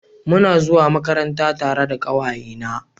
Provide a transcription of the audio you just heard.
Muna zuwa Makaranta tare da kawaye na